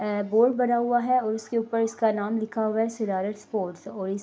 اور بورڈ بنا ہوا ہے اسکے اپر اسکا نام لکھا ہوا ہے سددھرتھ سپورٹس اور اس--